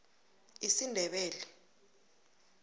isindebele